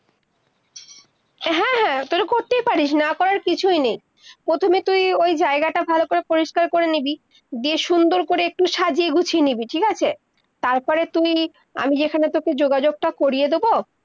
হ্যাঁ-হ্যাঁ তালে করতেই পারিস, না পারার কিছুই নেই, প্রথমে তুই ওই জায়গাটা ভালো করে পরিষ্কার করে নিবি, দিয়ে সুন্দর করে ইকটূ সাজিয়ে গুছিয়ে নিবি, ঠিক আছে, তার পরে তুই, আমি যেখানে তোকে যোগাযোগ তা করিয়ে দোবো-